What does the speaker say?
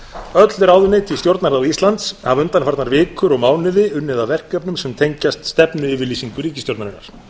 öll ráðuneyti í stjórnarráði íslands hafa undanfarnar vikur og mánuði unnið að verkefnum sem tengjast stefnuyfirlýsingu ríkisstjórnarinnar